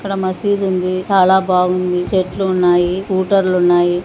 ఇక్కడ మసీదు ఉంది చాలా బాగుంది చెట్లు ఉన్నాయి-----